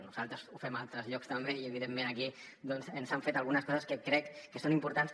nosaltres ho fem a altres llocs també i evidentment aquí ens han fet algunes coses que crec que són importants